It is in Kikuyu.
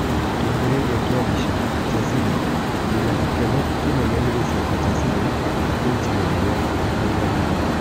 Kĩambĩrĩria kĩa mbica, Chasile " Ndĩna gĩkeno kĩnene nĩ gũcoka Chasile ta kũci mũnene," akauga Regani.